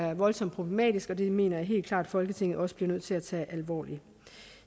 er voldsomt problematisk og det mener jeg helt klart at folketinget også bliver nødt til at tage alvorligt